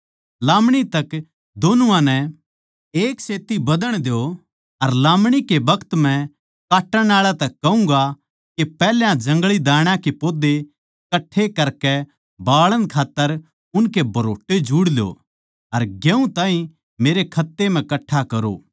लामणी तक दोनुआ नै एक सेत्ती बधण द्यो अर लामणी के बखत मै काटण आळा तै कहूँगा के पैहल्या जंगळी दाण्या के पौधे कट्ठे करकै बाळण खात्तर उनके भरोट्टे जुड़ ल्यो अर गेहूँ ताहीं मेरै खत्ते म्ह कट्ठा करो